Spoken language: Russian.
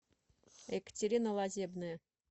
екатерина лазебная